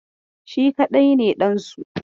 Shi kaɗai ne ɗansu.